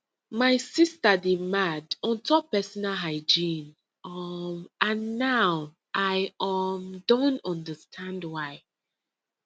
my sister dey mad on top personal hygiene um and now i um don understand why